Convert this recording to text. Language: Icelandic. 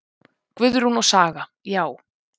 Guðrún og Saga: Já.